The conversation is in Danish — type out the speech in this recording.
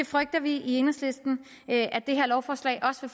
frygter vi i enhedslisten at lovforslaget også